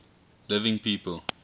living people